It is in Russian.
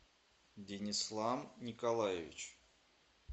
динислам николаевич